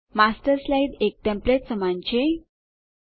master slide એક template નમૂનાં રૂપે લખાણ સમાન છે